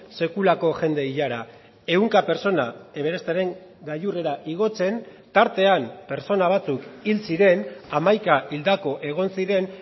sekulako jende ilara ehunka pertsona everesteren gailurrera igotzen tartean pertsona batzuk hil ziren hamaika hildako egon ziren